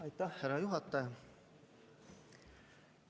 Aitäh, härra juhataja!